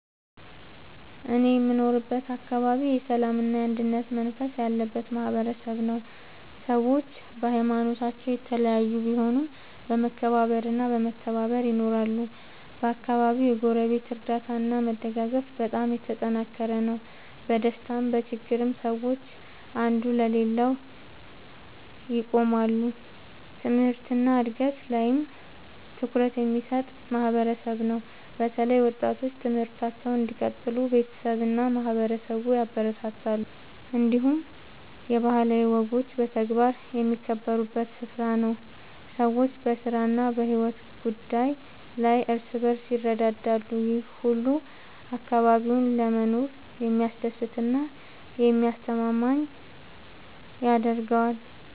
እኔ የምኖርበት አካባቢ የሰላምና የአንድነት መንፈስ ያለበት ማህበረሰብ ነው። ሰዎች በሀይማኖታቸው የተለያዩ ቢሆኑም በመከባበር እና በመተባበር ይኖራሉ። በአካባቢው የጎረቤት እርዳታ እና መደጋገፍ በጣም የተጠናከረ ነው። በደስታም በችግርም ሰዎች አንዱ ለሌላው ይቆማሉ። ትምህርት እና እድገት ላይም ትኩረት የሚሰጥ ማህበረሰብ ነው። በተለይ ወጣቶች ትምህርታቸውን እንዲቀጥሉ ቤተሰብ እና ማህበረሰብ ያበረታታሉ። እንዲሁም የባህላዊ ወጎች በተግባር የሚከበሩበት ስፍራ ነው። ሰዎች በስራ እና በሕይወት ጉዳይ ላይ እርስ በርስ ይረዳዳሉ። ይህ ሁሉ አካባቢውን ለመኖር የሚያስደስት እና የሚያስተማማኝ ያደርገዋል።